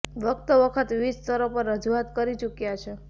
વખતો વખત વિવિધ સ્તર પર રજૂઆત કરી ચૂક્યા છે